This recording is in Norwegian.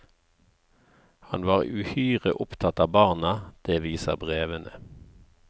Han var uhyre opptatt av barna, det viser brevene.